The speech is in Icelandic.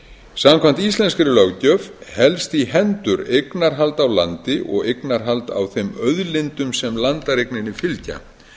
samkvæmt íslenskri löggjöf helst í hendur eignarhald á landi og eignarhald á þeim auðlindum sem landareigninni fylgja